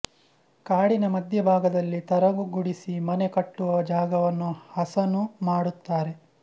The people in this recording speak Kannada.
ಕಾಡಿನ ಮಧ್ಯಭಾಗದಲ್ಲಿ ತರಗು ಗುಡಿಸಿ ಮನೆ ಕಟ್ಟುವ ಜಾಗವನ್ನು ಹಸನು ಮಾಡುತ್ತಾರೆ